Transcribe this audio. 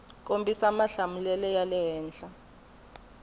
kombisa mahlamulelo ya le henhla